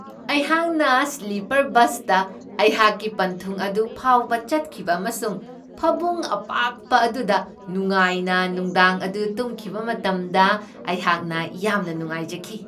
ꯑꯩꯍꯥꯛꯅ ꯁ꯭ꯂꯤꯄꯔ ꯕꯁꯇ ꯑꯩꯍꯥꯛꯀꯤ ꯄꯟꯊꯨꯡ ꯑꯗꯨ ꯐꯥꯎꯕ ꯆꯠꯈꯤꯕ ꯑꯃꯁꯨꯡ ꯐꯃꯨꯡ ꯑꯄꯥꯛꯄ ꯑꯗꯨꯗ ꯅꯨꯡꯉꯥꯏꯅ ꯅꯨꯡꯗꯥꯡ ꯑꯗꯨ ꯇꯨꯝꯈꯤꯕ ꯃꯇꯝꯗ ꯑꯩꯍꯥꯛꯅ ꯌꯥꯝꯅ ꯅꯨꯡꯉꯥꯏꯖꯈꯤ ꯫